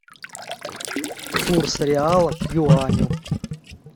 курс реала к юаню